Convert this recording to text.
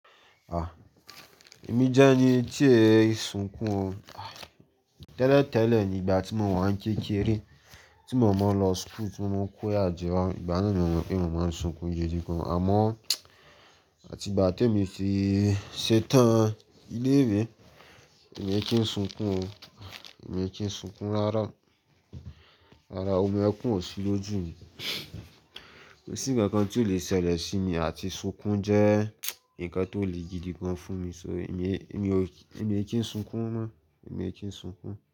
Ah, èmi jẹ́ ẹni tí ẹ̀ ń sunkún o. Tẹ́lẹ̀ tẹ́lẹ̀ nígbà tí mo wà ń kékeré, tí mo mọ̀ ọ́n lọ school, tí mo mọ̀ ọ́n kóyà jẹwá, ìgbà náà ni mo mọ̀ pé mo máa ń sunkún gidigan. Àmọ́ àti ìgbà tí èmi ti ṣetán ilé ìwé, èmi kí ń sunkún o. Èmi kí ń sunkún rárá. Rárá, omi ẹkún ò sí lójú mi. Kò sí ǹkankan tí ó lè ṣẹlẹ̀ sí mi àti sunkún jẹ́ ǹkan tó le gidigan fún mi. So èmi, èmi ò, èmi kí ń sunkún mọ́. Èmi kí ń sunkún.